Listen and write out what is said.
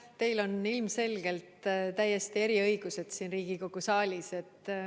Teil on ilmselgelt täiesti eriõigused siin Riigikogu saalis.